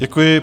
Děkuji.